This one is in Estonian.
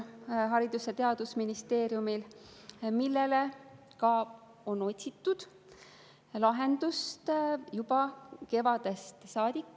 Haridus‑ ja Teadusministeeriumil on ka teine mure, millele ka on otsitud lahendust juba kevadest saadik.